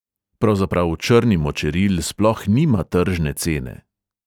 Pravzaprav črni močeril sploh nima tržne cene.